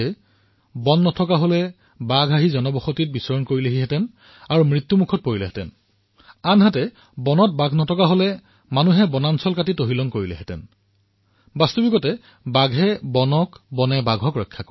অৰ্থাৎ যদি বন নাথাকে তেন্তে বাঘ মনুষ্যৰ আবাদীলৈ আহিবলৈ বাধ্য হৈ পৰিব আৰু মৰিবলগীয়া হব আৰু যদি হাবিত বাঘ নাথাকে তেন্তে মনুষ্যই হাবিলৈ বন কাটি সেয়া নষ্ট কৰিব আৰু সেইবাবে বাস্তৱিকতে বাঘে বনৰ ৰক্ষা কৰে